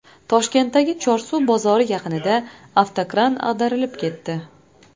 Toshkentdagi Chorsu bozori yaqinida ikki avtokran ag‘darilib ketdi.